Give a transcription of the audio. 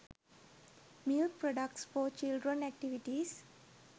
milk products for children activities